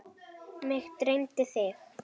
Mig dreymdi þig.